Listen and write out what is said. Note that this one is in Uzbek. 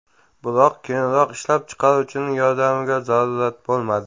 Biroq keyinroq ishlab chiqaruvchining yordamiga zarurat bo‘lmadi .